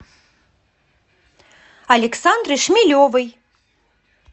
александры шмелевой